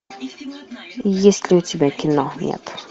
есть ли у тебя кино нет